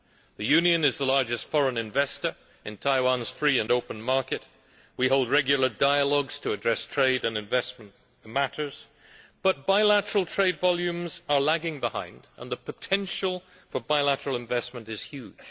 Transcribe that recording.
The Union is the largest foreign investor in Taiwan's free and open market, and we hold regular dialogues to address trade and investment matters, but bilateral trade volumes are lagging behind and the potential for bilateral investment is huge.